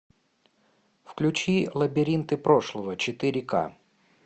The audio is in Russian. включи лабиринты прошлого четыре ка